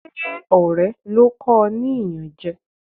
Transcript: Ṣé ọ̀rẹ́ ló kọ o ní iyanje?